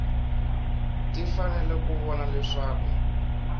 ti fanele ku vona leswaku